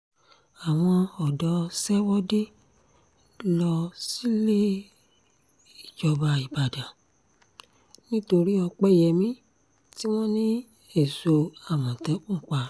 àwọn ọ̀dọ́ ṣèwọ́de lọ síléejọba nìbàdàn nítorí ọ̀pẹyẹmí tí wọ́n ní èso àmọ̀tẹ́kùn pa